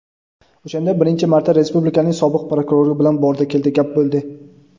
O‘shanda birinchi marta respublikaning sobiq prokurori bilan "bordi-keldi" gap bo‘ldi.